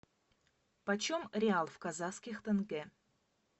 почем реал в казахских тенге